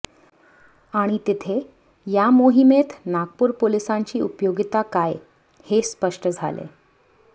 आणि तिथे या मोहिमेत नागपूर पोलिसांची उपयोगिता काय हे स्पष्ट झाले